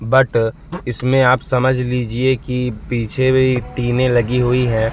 But इसमें आप समझ लिजिए कि पीछे भी टिंनें लगी हुई हैं।